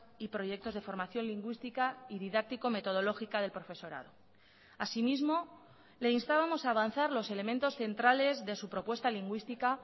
y proyectos de formación lingüística y didáctico metodológica del profesorado asimismo le instábamos a avanzar los elementos centrales de su propuesta lingüística